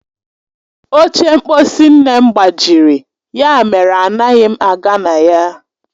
Oche mkposi nne m gbajiri, ya mere anaghị m aga na ya.